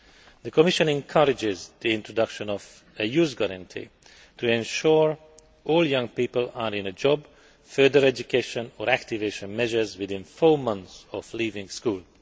The Commission encourages the introduction of a youth guarantee to ensure that all young people are in a job, further education or activation measures within four months of leaving school.